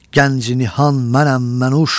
Gənc-i nihan mənəm, mən `uş.